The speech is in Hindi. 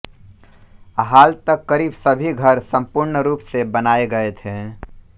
हाल तक करीब सभी घर संपूर्ण रूप से बनाए गए थे